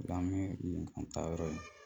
An bɛ an taayɔrɔ ye